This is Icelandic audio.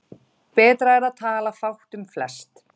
Betra er að tala fátt um flest.